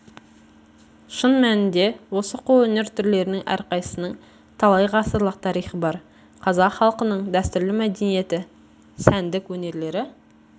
шын мәнінде осы қолөнер түрлерінің әрқайсысының талай ғасырлық тарихы бар қазақ халқының дәстүрлі мәдениеті сәндік өнерлері